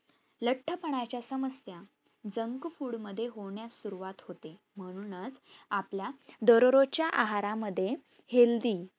लठ्ठ पनाच्या समस्या junk food मध्ये होण्यास सुरवात होते. म्हणूनच अपला दरोरोजच्या आहारा मध्ये healthy.